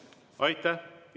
Aitäh!